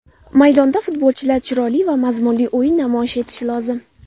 Maydonda futbolchilar chiroyli va mazmunli o‘yin namoyish etishi lozim.